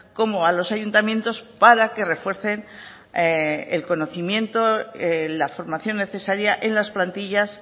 como a los ayuntamientos para que refuercen el conocimiento la formación necesaria en las plantillas